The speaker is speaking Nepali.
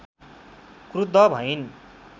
क्रुद्ध भइन्